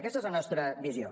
aquesta és la nostra visió